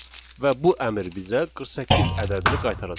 Və bu əmr bizə 48 ədədini qaytaracaq.